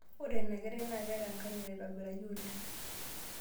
Ore ina kerai naa keeta enkanyit aitobiraki oleng.